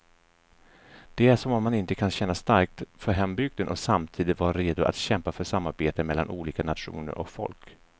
Det är som om man inte kan känna starkt för hembygden och samtidigt vara redo att kämpa för samarbete mellan olika nationer och folk.